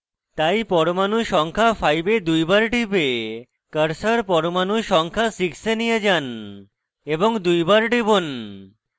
তাই পরমাণু সংখ্যা 5 এ দুইবার টিপে cursor পরমাণু সংখ্যা 6 এ নিয়ে যান এবং দুইবার টিপুন